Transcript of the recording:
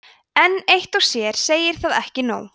en eitt og sér segir það ekki nóg